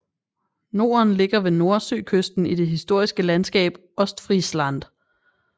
Norden ligger ved Nordsøkysten i det historiske landskab Ostfriesland